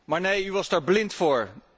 Maar nee, u was daar blind voor.